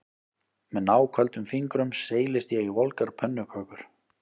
Með náköldum fingrum seilist ég í volgar pönnukökur